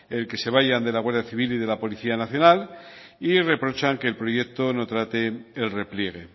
el que se vayan de la guardia civil y de la policía nacional y reprochan que el proyecto no trate el repliegue